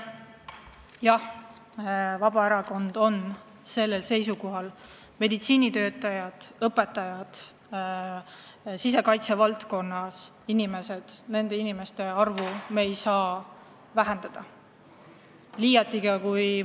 Jah, Vabaerakond on seisukohal, et meditsiinitöötajate, õpetajate ja sisekaitse valdkonnas töötavate inimeste arvu me ei saa vähendada.